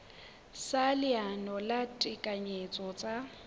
sa leano la ditekanyetso tsa